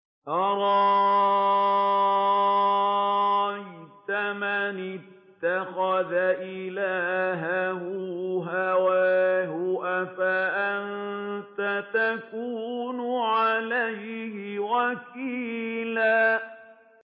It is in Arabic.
أَرَأَيْتَ مَنِ اتَّخَذَ إِلَٰهَهُ هَوَاهُ أَفَأَنتَ تَكُونُ عَلَيْهِ وَكِيلًا